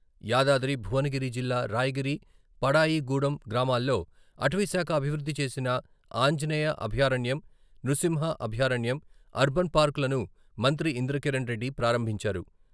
యాదాద్రి భువనగిరి జిల్లా రాయగిరి, వడాయి గూడం గ్రామాల్లో అటవీ శాఖ అభివృద్ధి చేసిన ఆంజనేయ అభయారణ్యం, నృసింహ అభయారణ్యం, అర్బన్ పార్క్ లను మంత్రి ఇంద్రకరణ్ రెడ్డి ప్రారంభించారు..